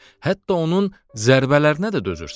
Hətta onun zərbələrinə də dözürsən.